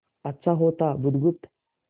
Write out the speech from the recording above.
अच्छा होता बुधगुप्त